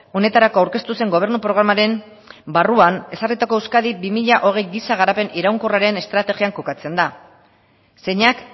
honetarako aurkeztu zen gobernu programaren barruan ezarritako euskadi bi mila hogei giza garapen iraunkorraren estrategian kokatzen da zeinak